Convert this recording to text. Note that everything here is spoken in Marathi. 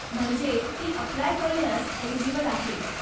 म्हणजे ती अप्लाय करण्यास एलिजिबल आहे.